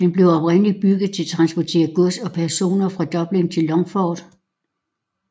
Den blev oprindeligt bygget til at transportere gods og personer fra Dublin til Longford